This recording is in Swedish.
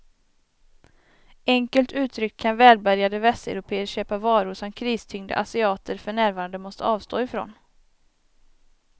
Enkelt uttryckt kan välbärgade västeuropéer köpa varor som kristyngda asiater för närvarande måste avstå ifrån.